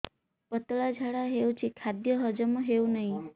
ପତଳା ଝାଡା ହେଉଛି ଖାଦ୍ୟ ହଜମ ହେଉନାହିଁ